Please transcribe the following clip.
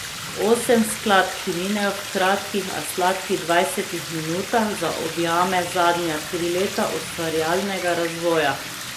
Osem skladb, ki minejo v kratkih, a sladkih dvajsetih minutah, zaobjame zadnja tri leta ustvarjalnega razvoja.